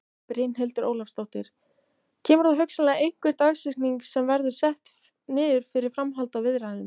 Brynhildur Ólafsdóttir: Kemur þá hugsanlega einhver dagsetning sem verður sett niður fyrir framhald á viðræðum?